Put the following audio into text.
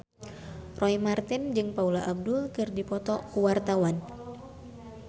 Roy Marten jeung Paula Abdul keur dipoto ku wartawan